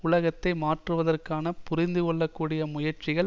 உலகத்தை மாற்றுவதற்கான புரிந்துகொள்ள கூடிய முயற்சிகள்